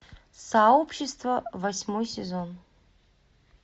сообщество восьмой сезон